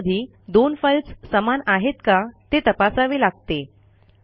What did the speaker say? कधीकधी दोन फाईल्स समान आहेत का ते तपासावे लागते